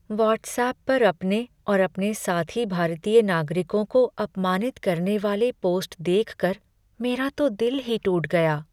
WhatsApp पर अपने और अपने साथी भारतीय नागरिकों को अपमानित करने वाले पोस्ट देखकर मेरा तो दिल ही टूट गया।